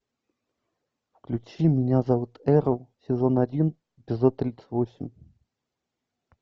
включи меня зовут эрл сезон один эпизод тридцать восемь